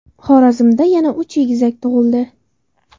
Xorazmda yana uch egizak tug‘ildi.